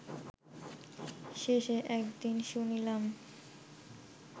শেষে, একদিন শুনিলাম